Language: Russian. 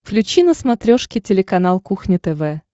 включи на смотрешке телеканал кухня тв